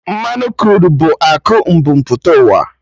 Mmanụ Kruud bụ akụ mbu mpụta ụwa